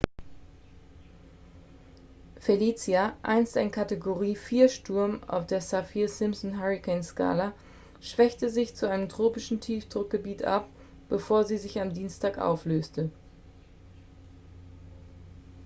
felicia einst ein kategorie 4-sturm auf der saffir-simpson-hurrikanskala schwächte sich zu einem tropischen tiefdruckgebiet ab bevor sie sich am dienstag auflöste